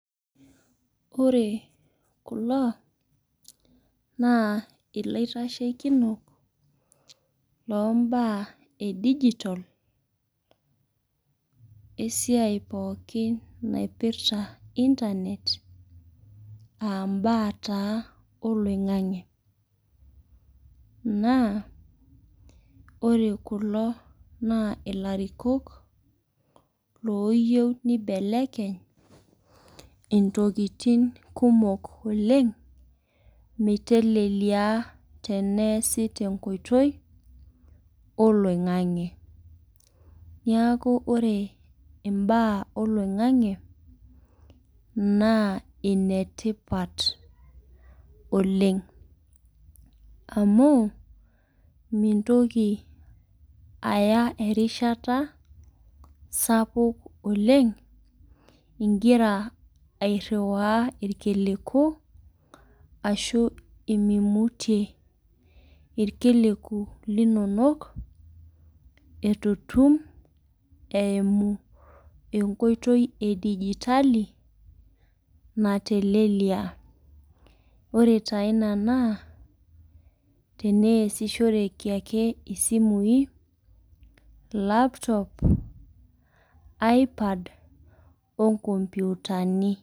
Ore kulo naa ilaitasheikinok loo imbaa e digitol esuiai pooki naipirta internet aa mbaa taa oloing'ang'e. Naa ore kulo naa ilarikok ooyiou neibelekeny intokitin kumok oleng' meitelelia teneasi tenkoitoi oloing'ang'e. Neaku ore imbaa oloin'gang'e naa ine tipat oleng'. Amu mintoki aya erishata sapuk oleng' ingira airiwaa ilkiliku anaa meimutie ilkiliku linono, eitu etum eimu enkoitooi e digitali, metaa natelelia. Ore taa ina naa teniasishoreki ake isimui, laptop, iPad o inkopyutani.